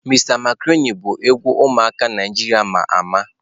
Mr macaroni bu egwu umuaka Naijiria ama ama.